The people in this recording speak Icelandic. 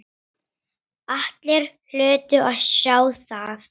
Allir hlutu að sjá það.